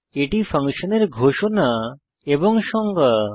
এটি ফাংশনের ঘোষণা এবং সংজ্ঞা